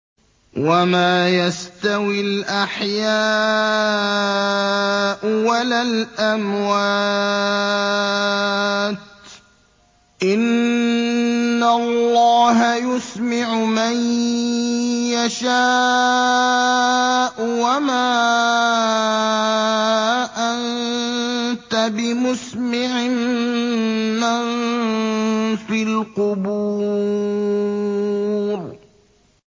وَمَا يَسْتَوِي الْأَحْيَاءُ وَلَا الْأَمْوَاتُ ۚ إِنَّ اللَّهَ يُسْمِعُ مَن يَشَاءُ ۖ وَمَا أَنتَ بِمُسْمِعٍ مَّن فِي الْقُبُورِ